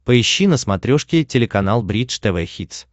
поищи на смотрешке телеканал бридж тв хитс